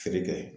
Feere kɛ